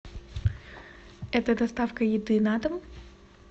это доставка еды на дом